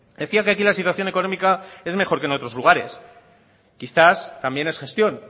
decía que aquí la situación económica es mejor que en otros lugares quizás también es gestión